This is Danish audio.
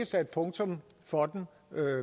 sat punktum for den